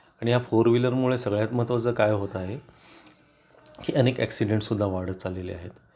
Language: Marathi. आणि या फोर व्हीलर मुळे सगळ्यात महत्वाचं काय होत आहे की अनेक एक्सीडेंट सुद्धा वाढत चाललेले आहेत